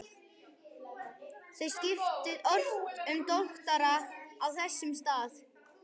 Þeir skiptu ört um doktora á þessum stað.